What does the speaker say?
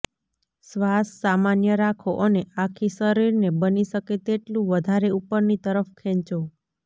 શ્વાસ સામાન્ય રાખો અને આખી શરીરને બની શકે તેટલું વધારે ઉપરની તરફ ખેંચો